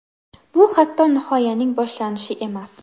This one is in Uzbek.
Bu hatto nihoyaning boshlanishi emas.